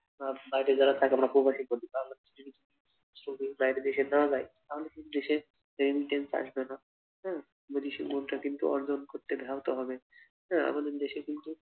আর বাইরে যারা থাকে আমরা প্রবাসী বলি তাহলে বাইরে দেশে যাওয়া যায় তাহলে কিন্তু দেশে remittance আসবে না হম যদি সে মুদ্রা কিনতে অর্জন করতে ব্যাহত হবে হ্যাঁ আমাদের দেশে কিন্তু